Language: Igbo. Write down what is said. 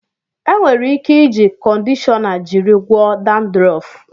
E nwere ike iji kọndishọna jiri gwọọ dandrọf.